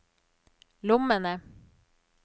lommene